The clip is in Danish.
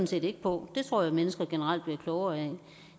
set ikke på det tror jeg mennesker generelt bliver klogere af